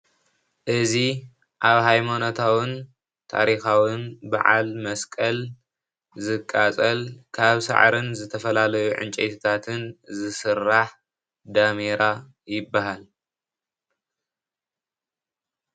እዚ ኣብ ሃይማኖታውን ታሪኻውን በዓል መስቀል ዝቃፀል ካብ ሳዕርን ዝተፈላለዩ ዕንጨይታትን ዝስራሕ ዳሜራ ይበሃል።